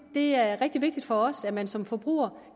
det er rigtig vigtigt for os at man som forbruger